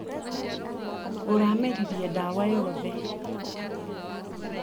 Ũrameririe dawa yothe.